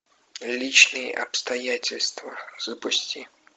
личные обстоятельства запусти